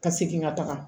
Ka segin ka taga